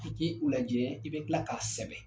K'i k'i u lajɛ i bɛ kila k'a sɛbɛn